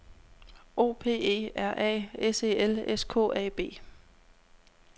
O P E R A S E L S K A B